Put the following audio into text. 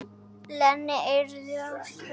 Lena yrði að fara.